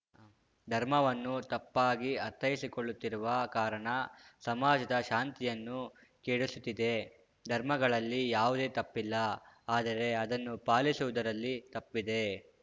ಧರ್ಮವನ್ನು ತಪ್ಪಾಗಿ ಅರ್ಥೈಸಿಕೊಳ್ಳುತ್ತಿರುವ ಕಾರಣ ಸಮಾಜದ ಶಾಂತಿಯನ್ನು ಕೆಡಿಸುತ್ತಿದೆ ಧರ್ಮಗಳಲ್ಲಿ ಯಾವುದು ತಪ್ಪಿಲ್ಲ ಆದರೆ ಅದನ್ನು ಪಾಲಿಸುವುದರಲ್ಲಿ ತಪ್ಪಿದೆ